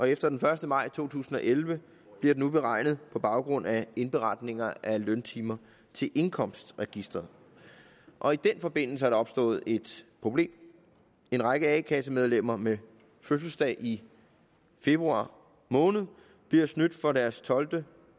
efter den første maj to tusind og elleve bliver den beregnet på baggrund af indberetninger af løntimer til indkomstregisteret og i den forbindelse er der opstået problem en række a kassemedlemmer med fødselsdag i februar måned bliver snydt for deres tolvte og